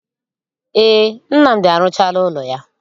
Ee, Nnamdi arụchaala ụlọ ya.